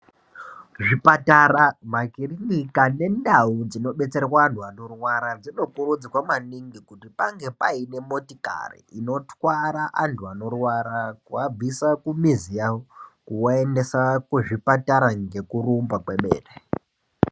Zvipatara makiriniki nendau dzinobetsera anti anorwara dzinokurudzirwa maningi kuti pange paine motikari inotwara antu anorwara kuabvisa kumizi yavo kuvaendesa kuzvipatara ngekurumba kwemene .